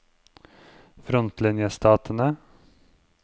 frontlinjestatene